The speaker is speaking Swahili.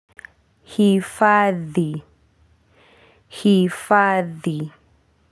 Hifadhi hifadhi.